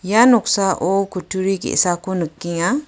ia noksao kutturi ge·sako nikenga.